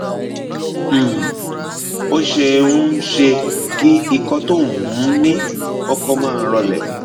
um ó ṣeé um ṣe kí ikọ tó o um ní kọkọ máa rọlẹ